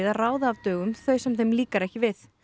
að ráða af dögum þau sem þeim líkar ekki við